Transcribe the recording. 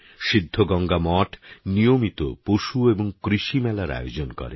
সিদ্ধ গঙ্গামঠ নিয়মিত পশু এবং কৃষিমেলার আয়োজন করে